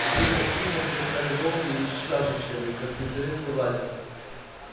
теперь такси в москве стали жёлтые и с шашечками как при советской власти